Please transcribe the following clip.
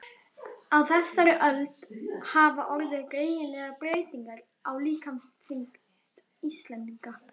Á þessari öld hafa orðið greinilegar breytingar á líkamsþyngd Íslendinga.